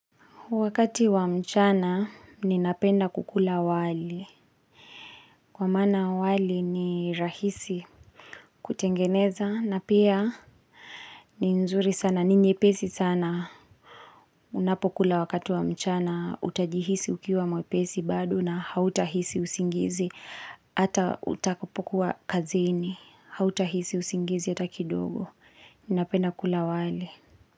Wakati wa mchana, ninapenda kukula wali. Kwa maana wali ni rahisi kutengeneza na pia ni nzuri sana. Ni nyepesi sana, unapokula wakati wa mchana, utajihisi ukiwa mwepesi bado na hautahisi usingizi. Hata utakapokuwa kazini, hautahisi usingizi hata kidogo. Ninapenda kukula wali.